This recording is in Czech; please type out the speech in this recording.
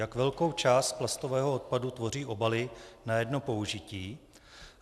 Jak velkou část plastového odpadu tvoří obaly na jedno použití?